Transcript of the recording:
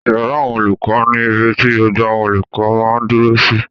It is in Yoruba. Ìyàrá àwọn olùkọ́ ni ibi ti gbogbo àwọn olùkọ́ máa dúró sí